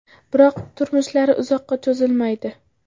Biroq turmushlari uzoqqa cho‘zilmaydi.